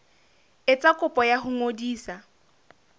etsa kopo ya ho ngodisa